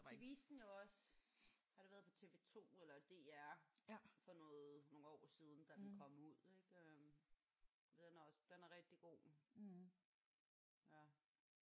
De viste den jo også. Har det været på tv2 eller DR? For noget nogle år siden da den kom ud ik? Den er også den er rigtig god